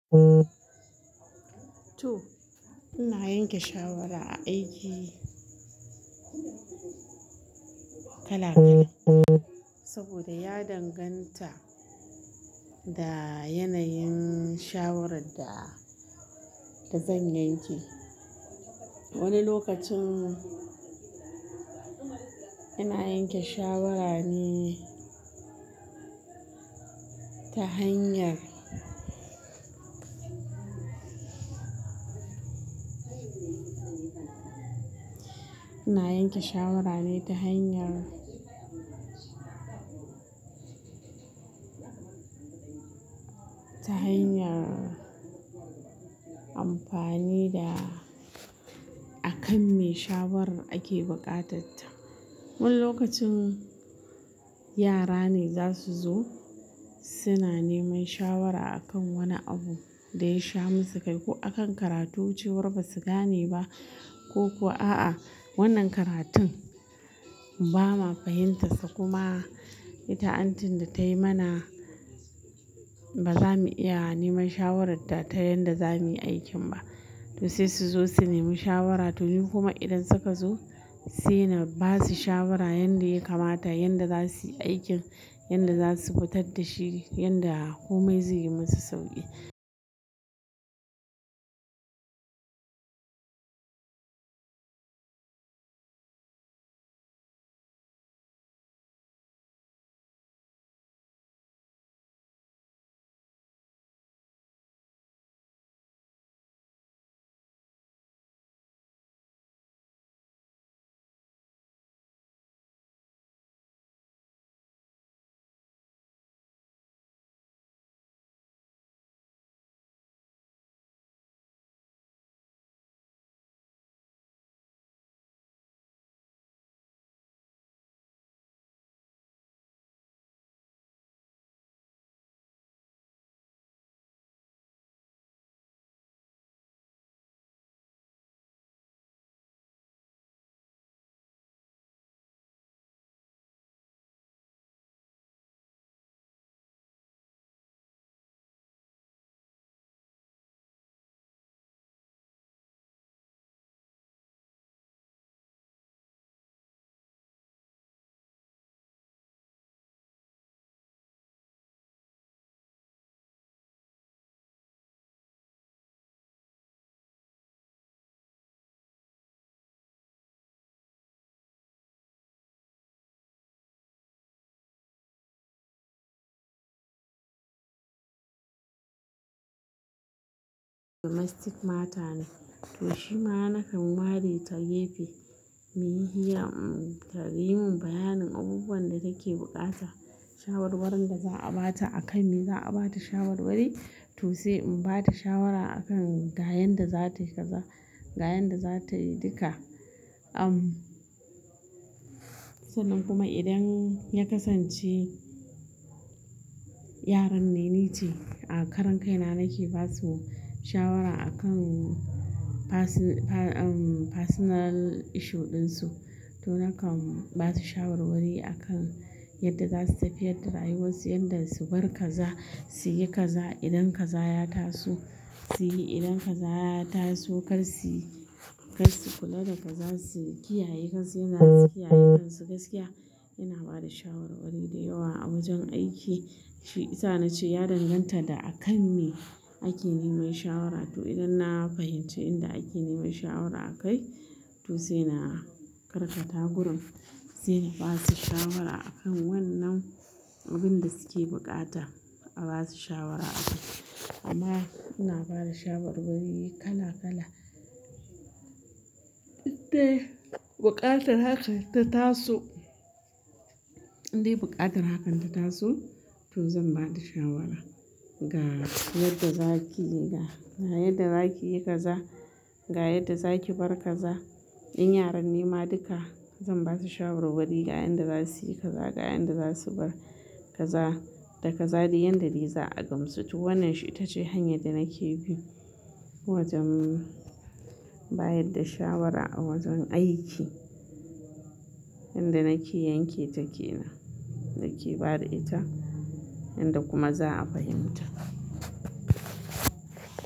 Toh, ina yanke shawara a aiki kala kala. Saboda ya danganta da yanayin shawarar da zan yanke. Wani lokacin ina yanke shawara ne ta hanyar, ina yanke shawara ne ta hanyar, ta hanyar amfani da akan me shawaran ake buƙata ta. Wani lokacin yara ne zasu zo, suna neman shawara a kan wani abu da ya sha musu kai. Ko a kan karatu cewar ba su gane ba, koko a'a wannan karatun ba ma fahimta su. Kuma ita antin da tayi mana ba zamu iya neman shawarar ta ta yanda zamuyi aikin ba. Toh sai su zo su nemi shawara toh ni kuma idan suka zo sai na basu shawara yanda ya kamata, yanda zasuyi aikin, yanda zasu fitar da shi, yanda komai zai yi musu sauƙi. Domestic matter ne, toh shima nakan ware ta gefe mu yi hira ta yi mun bayanin abubuwan da take bukata. Shawarwarin da za'a bata a kan me za'a bata shawarwari. Toh sai in bata shawara akan ga yanda zatayi kaza, ga yanda zatayi duka sannan kuma idan ya kasance yaran ne, ni ce a karan kaina nake basu shawara a kan basu personal issue ɗin su. Toh nakan basu shawarwari a kan yadda zasu tafiyar da rayuwar su, yanda su bar kaza, su yi kaza idan kaza ya taso. Su yi idan kaza ya tasu kar suyi, kar su kula da kaza su kiyaye, kar su yanza su kiyaye kansu gaskiya. Ina bada shawarwari da yawa a wajen aiki. Shi isa nace ya danganta da akan me ake neman shawara. Toh idan na fahimci inda ake neman shawara a kai to sai na karkata gurin sai na basu shawara a kan wannan abun da suke buƙata. A basu shawara a kai. Amma ina bada shawarwari kala kala. Idai buƙatar hakan ta taso, idai buƙatar hakan ta tasu to zan bada shawara ga yadda za ki yi ga, ga yadda za ki yi kaza, ga yadda za ki bar kaza. In yaran ne ma duka zan basu shawarwari ga yanda zasuyi kaza, ga yanda zasu bar kaza. Da kaza dai yanda dai za a gamsu. Toh wannan shi ita ce hanya da nake bi wajen bayar da shawara a wajen aiki. Yanda nake yanke ta kenan, nake bada ita, yanda kuma za'a fahimta.